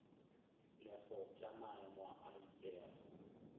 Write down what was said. lego tša maemo a itšego